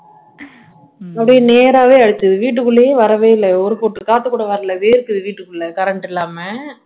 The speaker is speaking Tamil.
அப்படியே நேராவே அடிச்சது வீட்டுக்குள்ளேயே வரவே இல்ல ஒரு பொட்டு காத்து கூட வரல வேர்க்குது வீட்டுக்குள்ள current இல்லாம